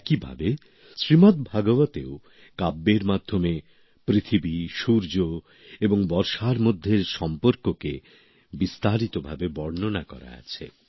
একি ভাবে শ্রীমৎ ভাগবতেও কাব্যের মাধ্যমে পৃথিবী সূর্য এবং বর্ষার মধ্যে সম্পর্ককে বিস্তারিত ভাবে বর্ণনা আছে